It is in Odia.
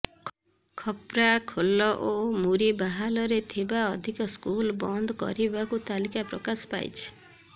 ଖପ୍ରାଖୋଲ ଓ ମୁରିବାହାଲରେ ଥିବା ଅଧିକ ସ୍କୁଲ୍ ବନ୍ଦ କରିବାକୁ ତାଲିକା ପ୍ରକାଶ ପାଇଛି